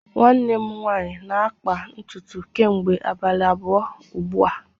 nwanne m nwanyi na-akpa ntutu kemgbe abalii abuo ugbua